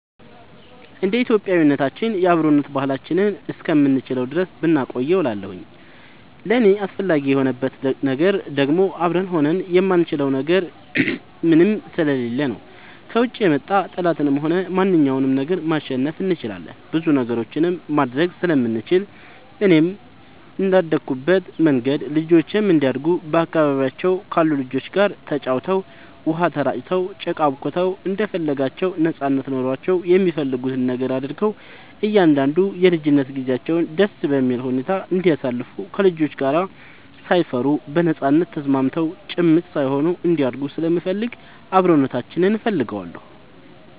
እንደ ኢትዮጵያዊነታችን የአብሮነት ባህላችንን እስከምንችለው ድረስ ብናቆየው እላለሁኝ። ለእኔ አስፈላጊ የሆንበት ነገር ደግሞ አብረን ሆነን የማንችለው ምንም ነገር ስለሌለ ነው። ከውጭ የመጣ ጠላትንም ሆነ ማንኛውንም ነገር ማሸነፍ እንችላለን ብዙ ነገሮችንም ማድረግ ስለምንችል፣ እኔም እንደአደኩበት መንገድ ልጆቼም እንዲያድጉ በአካባቢያቸው ካሉ ልጆች ጋር ተጫውተው, ውሃ ተራጭተው, ጭቃ አቡክተው እንደፈለጋቸው ነጻነት ኖሯቸው የሚፈልጉትን ነገር አድርገው እንዲያድጉ የልጅነት ጊዜያቸውን ደስ በሚል ሁኔታ እንዲያሳልፉ ከልጆች ጋር ሳይፈሩ በነጻነት ተስማምተው ጭምት ሳይሆኑ እንዲያድጉ ስለምፈልግ አብሮነታችንን እፈልገዋለሁ።